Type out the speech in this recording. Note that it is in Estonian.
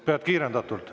Pead kiirendatult.